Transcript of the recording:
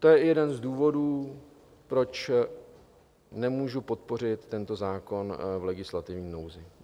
To je i jeden z důvodů, proč nemůžu podpořit tento zákon v legislativní nouzi.